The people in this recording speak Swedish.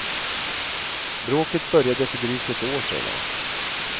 Bråket började för drygt ett år sedan.